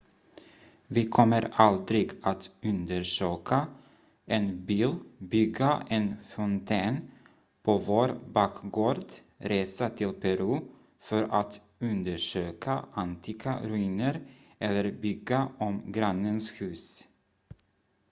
vi kommer aldrig att undersöka en bil bygga en fontän på vår bakgård resa till peru för att undersöka antika ruiner eller bygga om grannens hus